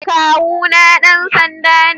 kawu na dansanda me.